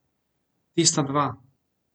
Tista dva.